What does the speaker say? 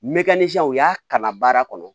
Mɛ sisan u y'a kalan baara kɔnɔ